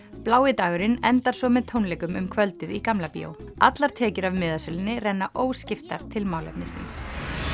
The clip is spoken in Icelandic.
blái dagurinn endar svo með tónleikum um kvöldið í Gamla bíó allar tekjur af miðasölunni renna óskiptar til málefnisins